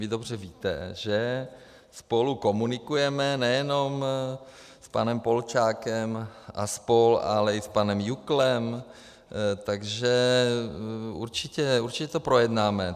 Vy dobře víte, že spolu komunikujeme, nejenom s panem Polčákem a spol., ale i s panem Juklem, takže určitě to projednáme.